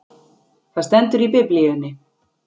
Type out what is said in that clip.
Það stendur í biblíunni!